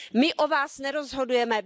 My o Vás nerozhodujeme.